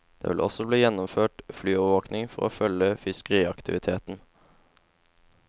Det vil også bli gjennomført flyovervåking for å følge fiskeriaktiviteten.